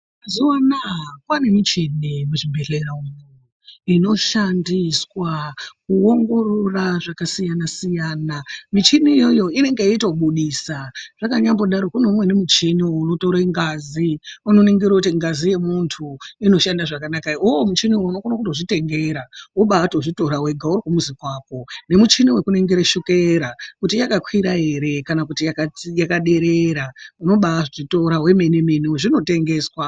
Mazuwaanaa kwaane michini muzvibhedhlera umwu inoshandiswa kuongorora zvakasiyana-siyana. Michini iyoyo inonga yeitobudisa, zvakanyambodaro kuno umweni muchini unotore ngazi. Unoningira kuti ngazi yemuntu inoshanda zvakanaka ere. Uwowo muchini unokone kutozvitengera wobaatozvitora wega uri kumuzi kwako, numuchini wekunigire shukera kuti yakakwira ere kana kuti yakadzi yakaderera. Unobaazvitora wemene mene zvinotengeswa.